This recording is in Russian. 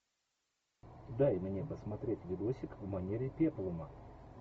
дай мне посмотреть видосик в манере пеплума